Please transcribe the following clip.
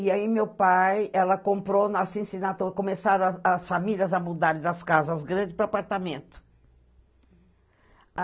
E aí, meu pai, ela comprou, nós em, começaram a as famílias a mudar das casas grandes para apartamentos.